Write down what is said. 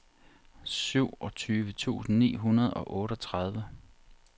syvogtyve tusind ni hundrede og otteogtredive